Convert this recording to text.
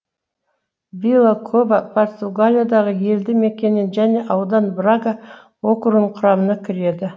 вила кова португалиядағы елді мекенен және аудан брага округінің құрамына кіреді